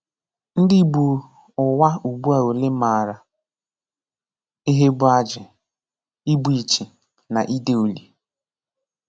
Ndị Ìgbò Ụwa ụ̀gbụ́a òlee m̀àrà ihe bụ́ ájị̀, ìgbù ìchì, na ìdé ùlì?